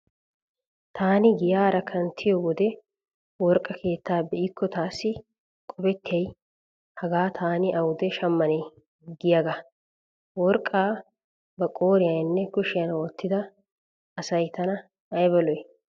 Taani giyaara kanttiyo wode worqqa keettaa be'ikko taassi qopettiyay hagaa taani awude shammanee giyaagaa. Worqqa ba qooriyaninne kushiyan wottiyaa asay tana ayba lo'i.